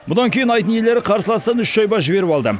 бұдан кейін айдын иелері қарсыластан үш шайба жіберіп алды